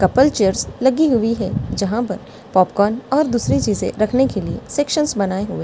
couple chairs लगी हुई है जहां पर पॉपकॉर्न और दूसरी चीजें रखने के लिए सेक्शंस बनाए हुए --